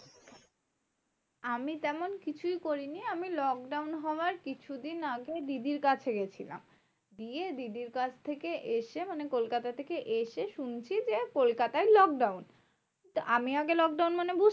আমি তেমন কিছুই করিনি, আমি lockdown হওয়ার কিছুদিন আগে দিদির কাছে গেছিলাম। দিয়ে দিদির কাছ থেকে এসে মানে কলকাতা থেকে এসে শুনছি যে, কলকাতায় lockdown. আমি আগে lockdown মানে